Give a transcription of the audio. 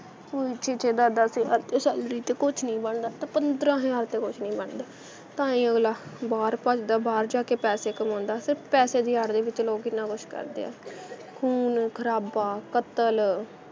ਹੁਣ ਛੇ-ਛੇ, ਦਸ-ਦਸ ਹਜ਼ਾਰ 'ਚ salary 'ਤੇ ਕੁੱਛ ਨਹੀਂ ਬਣਦਾ ਅਤੇ ਪੰਦਰਾਂ ਹਜ਼ਾਰ 'ਤੇ ਕੁੱਛ ਨਹੀਂ ਬਣਦਾ ਤਾਂ ਹੀ ਅਗਲਾ ਬਾਹਰ ਭੱਜਦਾ ਬਾਹਰ ਜਾ ਕੇ ਪੈਸੇ ਕਮਾਉਂਦਾ ਅਤੇ ਪੈਸੇ ਦੀ ਆੜ੍ਹ ਦੇ ਵਿੱਚ ਲੋਕ ਕਿੰਨਾਂ ਕੁੱਛ ਕਰਦੇ ਆ ਖੂਨ ਖਰਾਬਾ ਕਤਲ